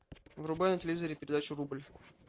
врубай на телевизоре передачу рубль